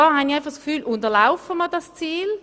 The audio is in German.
Damit unterlaufen wir das Ziel.